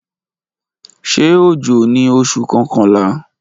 Ṣe ojo ni Oṣu kọkanla?